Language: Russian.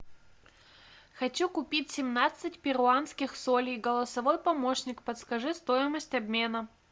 хочу купить семнадцать перуанских солей голосовой помощник подскажи стоимость обмена